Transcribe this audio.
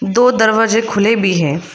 दो दरवाजे खुले भी हैं।